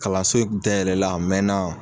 Kalanso in kun tayɛlɛla a mɛna